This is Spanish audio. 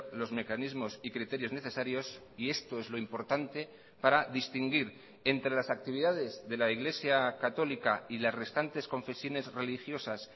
los mecanismos y criterios necesarios y esto es lo importante para distinguir entre las actividades de la iglesia católica y las restantes confesiones religiosas